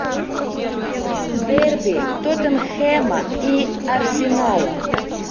дерби тоттенхэма и арсенала